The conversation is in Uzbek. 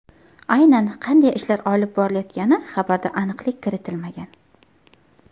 Aynan qanday ishlar olib borilayotgani xabarda aniqlik kiritilmagan.